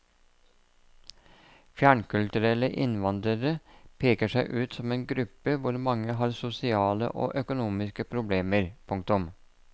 Fjernkulturelle innvandrere peker seg ut som en gruppe hvor mange har sosiale og økonomiske problemer. punktum